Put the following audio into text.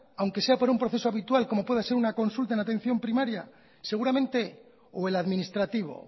aunque sea por un proceso habitual como pueda ser una consulta en atención primaria seguramente o el administrativo